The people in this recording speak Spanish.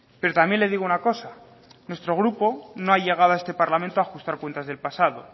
pero también le digo una cosa nuestro grupo no ha llegado a este parlamento a ajustar cuentas del pasado